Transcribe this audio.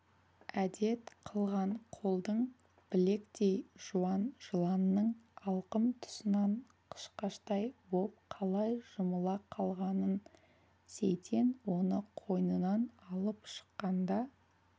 әдет қылған қолдың білектей жуан жыланның алқым тұсынан қышқаштай боп қалай жұмыла қалғанын сейтен оны қойнынан алып шыққанда